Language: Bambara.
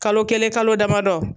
Kalo kelen kalo damadɔ